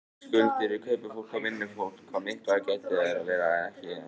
Skuldir við kaupafólk og vinnufólk, hvað miklar þær eru veit ég ekki enn.